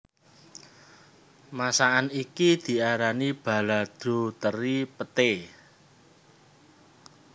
Masakan iki diarani balado teri Peté